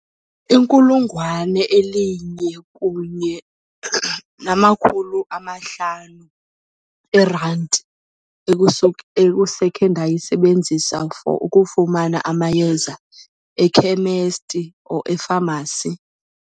Inkulungwane elinye kunye namakhulu amahlanu erandi ekusekhe ndayisebenzisa for ukufumana amayeza ekhemesti or efamasi.